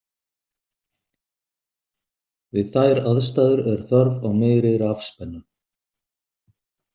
Við þær aðstæður er þörf á meiri rafspennu.